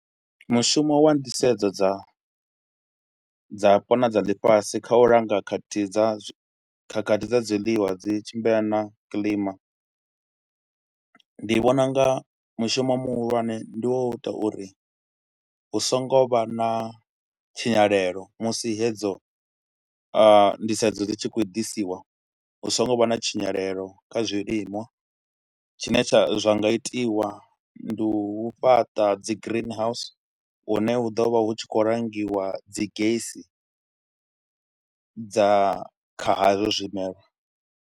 Mushumo wa nḓisedzo dza dzapo na dza ḽifhasi kha u langa khakhathi dza khakhathi dza zwiḽiwa dzi tshimbila na kilima, ndi vhona u nga mushumo muhulwane ndi wo u ita uri hu songo vha na tshinyalelo musi hedzo nḓisedzo dzi tshi khou ḓisiwa hu songo vha na tshinyalelo kha zwiliṅwa. Tshine tsha zwa nga itiwa ndi u fhaṱa dzi green house hune hu ḓo vha hu tshi khou langiwa dzi gesi dza kha hazwo zwimelwa.